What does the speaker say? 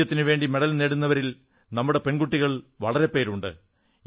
രാജ്യത്തിനുവേണ്ടി മെഡൽ നേടുന്നവരിൽ നമ്മുടെ പെൺകുട്ടികൾ വളരെ പേരുണ്ട്